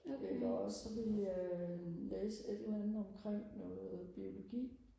eller også så ville jeg læse et eller andet omkring noget biologi